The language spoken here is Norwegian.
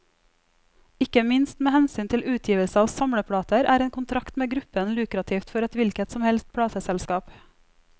Ikke minst med hensyn til utgivelse av samleplater, er en kontrakt med gruppen lukrativt for et hvilket som helst plateselskap.